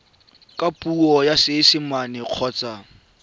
ka puo ya seesimane kgotsa